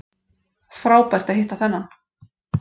Frábært að hitta þennan